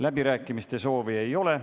Läbirääkimiste soovi ei ole.